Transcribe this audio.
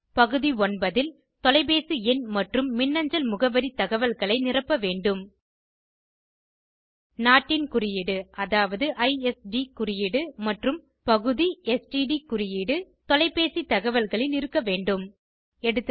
பகுதி 9 ல் தொலைப்பேசி எண் மற்றும் மின்னஞ்சல் முகவரி தகவல்களை நிரப்ப வேண்டும் நாட்டின் குறியீடு அதாவது ஐஎஸ்டி குறியீடு மற்றும் பகுதிSTD குறியீடு தொலைப்பேசி தகவல்களில் இருக்க வேண்டும் எகா